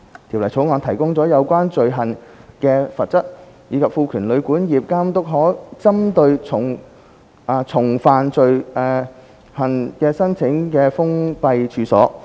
《條例草案》提高了有關罪行的罰則，以及賦權監督可針對重犯罪行的處所申請封閉令。